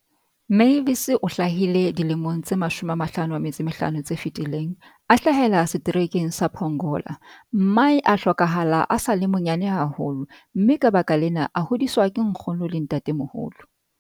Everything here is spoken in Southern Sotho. Mavis o hlahile dilemong tse 55 tse fetileng, a hlahela Seterekeng sa Pongola. Mmae a hlokahala a sa le monyane haholo, mme ka baka lena, a hodiswa ke nkgono le ntatemoholo.